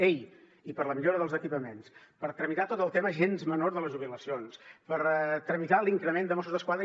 ei i per la millora dels equipaments per tramitar tot el tema gens menor de les jubilacions per tramitar l’increment de mossos d’esquadra